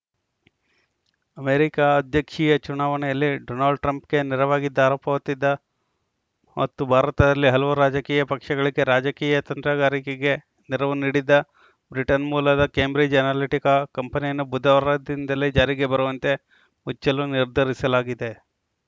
America ಅಧ್ಯಕ್ಷೀಯ ಚುನಾವಣೆಯಲ್ಲಿ Donald ಟ್ರಂಪ್‌ಗೆ ನೆರವಾಗಿದ್ದ ಆರೋಪ ಹೊತ್ತಿದ್ದ ಮತ್ತು ಭಾರತದಲ್ಲಿ ಹಲವು ರಾಜಕೀಯ ಪಕ್ಷಗಳಿಗೆ ರಾಜಕೀಯ ತಂತ್ರಗಾರಿಕೆಗೆ ನೆರವು ನೀಡಿದ್ದ ಬ್ರಿಟನ್‌ ಮೂಲದ ಕೇಂಬ್ರಿಜ್‌ ಅನಾಲಿಟಿಕಾ ಕಂಪನಿಯನ್ನು ಬುಧವಾರದಿಂದಲೇ ಜಾರಿಗೆ ಬರುವಂತೆ ಮುಚ್ಚಲು ನಿರ್ಧರಿಸಲಾಗಿದೆ